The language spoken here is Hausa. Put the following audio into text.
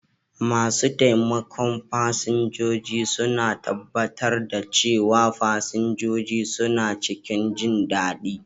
Masu taimakon fasinjoji suna tabbatar da cewa fasinjoji suna cikin jindadi.